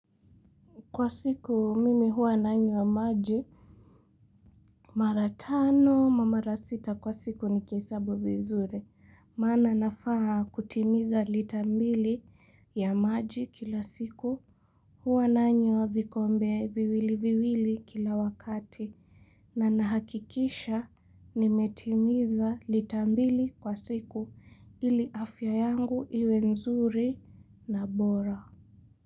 Kwa siku mimi huwa nanywa maji mara tano ma mara sita kwa siku nikihesabu vizuri. Maana nafaa kutimiza lita mbili ya maji kila siku huwa nanywa vikombe viwili viwili kila wakati. Na nahakikisha nimetimiza litambili kwa siku ili afya yangu iwe nzuri na bora.